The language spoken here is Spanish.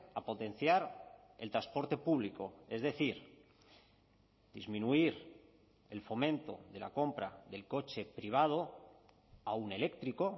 a potenciar el transporte público es decir disminuir el fomento de la compra del coche privado aun eléctrico